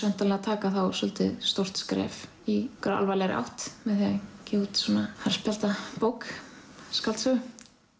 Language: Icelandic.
væntanlega að taka þá svolítið stórt skref í alvarlegri átt með því að gefa út svona harðspjaldabók skáldsögu